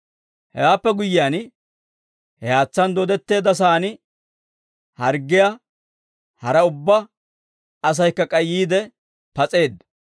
Hewaappe guyyiyaan, he haatsaan dooddetteedda sa'aan harggiyaa hara ubbaa asaykka k'ay yiide pas'eedda.